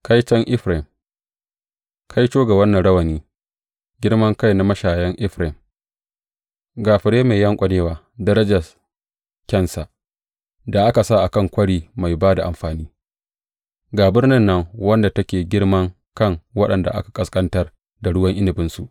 Kaiton Efraim Kaito ga wannan rawani, girman kai na mashayan Efraim, ga fure mai yanƙwanewa, darajar kyansa, da aka sa a kan kwari mai ba da amfani, ga birnin nan, wadda take girman kan waɗanda aka ƙasƙantar da ruwan inabinsu!